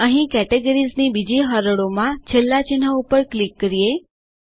અહીંcategoriesની બીજી હરોળમાંના છેલ્લા ચિહ્ન ઉપર ક્લિક કરીએ